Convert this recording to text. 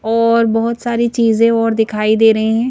और बहुत सारी चीजें और दिखाई दे रही है।